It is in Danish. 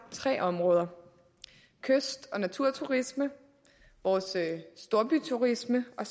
tre områder kyst og naturturisme storbyturisme og